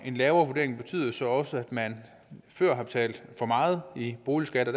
en lavere vurdering betyder det så også at man før har betalt for meget i boligskat og